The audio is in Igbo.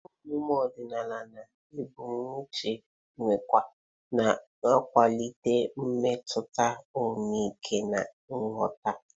Ihe omume odinala na egbochu nkewa, na-akwalite mmetụta ọmịiko na nghọta.